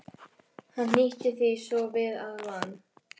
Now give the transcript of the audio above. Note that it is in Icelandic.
Hann hnýtti því svo við að van